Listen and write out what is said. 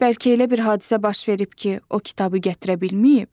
Bəlkə elə bir hadisə baş verib ki, o kitabı gətirə bilməyib?